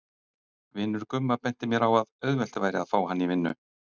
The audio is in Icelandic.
Vinur Gumma benti mér á að auðvelt væri að fá vinnu í